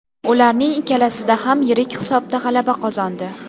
Ularning ikkalasida ham yirik hisobda g‘alaba qozondi.